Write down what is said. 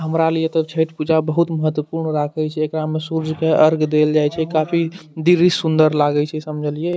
हमरा लिये ते छठ पूजा बहुत ही महत्वपूर्ण राखय छै एकरा मे सूर्य के अर्घ देएल जाय छै काफी दिव्य सुन्दर लागे छै समझलिए।